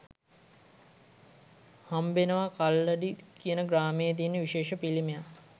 හම්බෙනවා කල්ලඩි කියන ග්‍රාමයේ තියෙන විශේෂ පිළිමයක්